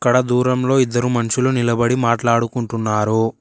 అక్కడ దూరంలో ఇద్దరు మనుషులు నిలబడి మాట్లాడుకుంటున్నారు.